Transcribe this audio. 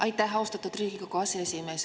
Aitäh, austatud Riigikogu aseesimees!